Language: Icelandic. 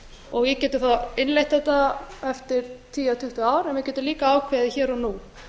og við getum þá innleitt þetta eftir tíu eða tuttugu ár en við getum líka ákveðið hér og nú